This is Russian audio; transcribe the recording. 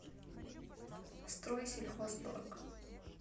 стройсельхозторг